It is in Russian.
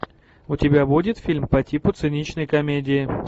у тебя будет фильм по типу циничной комедии